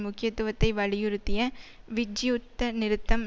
முக்கியத்துவத்தை வலியுறுத்திய விஜ் யுத்த நிறுத்தம்